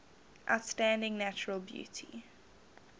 outstanding natural beauty